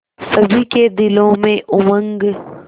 सभी के दिलों में उमंग